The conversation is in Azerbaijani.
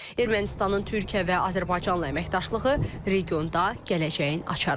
Ermənistanın Türkiyə və Azərbaycanla əməkdaşlığı regionda gələcəyin açarıdır.